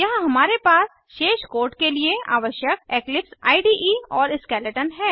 यहाँ हमारे पास शेष कोड के लिए आवश्यक इक्लिप्स इडे और स्केलेटन है